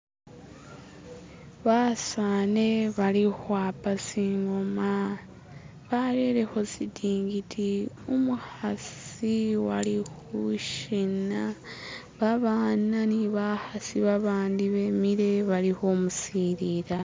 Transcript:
basani bali hwapa singoma barereho sitingidi umuhasi walihushina babana nibahasi babandi bemile bali humusilila